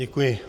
Děkuji.